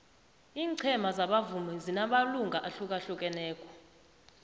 ingcema zabavumi zinamalunga ahlukahlukaneko